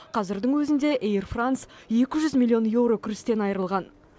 қазірдің өзінде эйр франс екі жүз миллион еуро кірістен айырылған